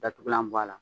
Datugulan bɔ a la